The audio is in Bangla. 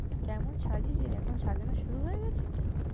কেমন সাজিয়েছে রে? এখন সাজানো শুরু হয়ে গেছে কি।